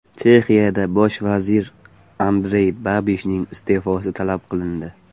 Chexiyada bosh vazir Andrey Babishning iste’fosi talab qilindi.